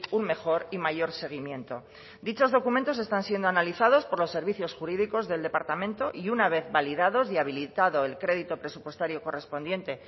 un mejor y mayor seguimiento dichos documentos están siendo analizados por los servicios jurídicos del departamento y una vez validados y habilitado el crédito presupuestario correspondiente